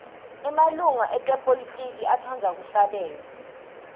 emalunga epolitiki atsqndza kuhlabela